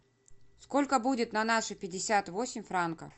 сколько будет на наши пятьдесят восемь франков